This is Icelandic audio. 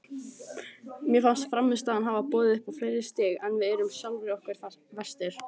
Mér fannst frammistaðan hafa boðið upp á fleiri stig en við erum sjálfum okkur verstir.